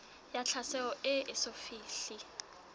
ya tlhaselo e eso fihle